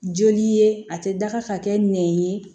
Joli ye a tɛ daga ka kɛ nɛn ye